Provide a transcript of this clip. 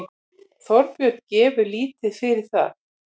Þorbjörn gefur lítið fyrir það.